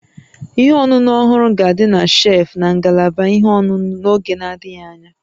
Ihe ọṅụṅụ ọhụrụ ga-adị na shelfụ́ na ngalaba ihe ọṅụṅụ n'oge na-adịghị anya